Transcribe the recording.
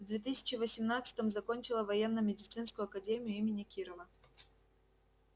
в две тысячи восемнадцатом закончила военно-медицинскую академию имени кирова